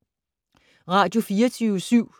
Radio24syv